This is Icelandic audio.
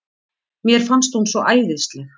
Mér fannst hún svo æðisleg.